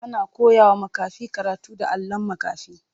Ana koyawa makafi karatu da allon makafi.